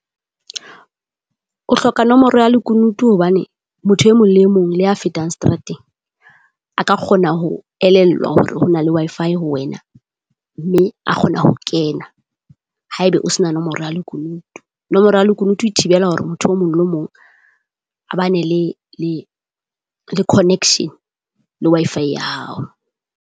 O hloka nomoro ya lekunutu hobane motho e mong le e mong, le ya fetang seterateng. A ka kgona ho elellwa hore ho na le Wi-Fi ho wena, mme a kgona ho kena. Haeba o se na nomoro ya lekunutu, nomoro ya lekunutu e thibela hore motho o mong le mong, a ba ne le le connection le Wi-Fi ya hao.